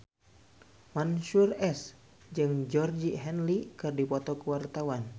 Mansyur S jeung Georgie Henley keur dipoto ku wartawan